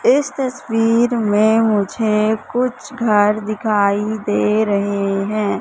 इस तस्वीर में मुझे कुछ घर दिखाई दे रहे हैं।